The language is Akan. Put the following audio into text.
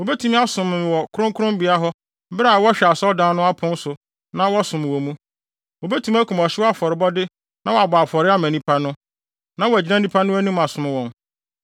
Wobetumi asom wɔ me kronkronbea hɔ bere a wɔhwɛ asɔredan no apon so na wɔsom wɔ mu; wobetumi akum ɔhyew afɔrebɔde na wɔabɔ afɔre ama nnipa no, na wɔagyina nnipa no anim asom wɔn.